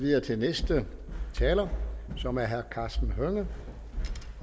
videre til næste taler som er herre karsten hønge